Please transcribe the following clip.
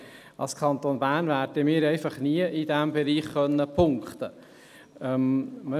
Aber als Kanton Bern werden wir in diesem Bereich einfach nie punkten können.